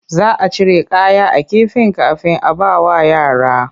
Za a cire kaya a kifin kafin a bawa yara.